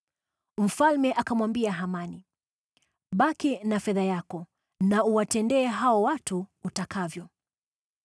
Mfalme akamwambia Hamani, “Baki na fedha yako na uwatendee hao watu utakavyo.”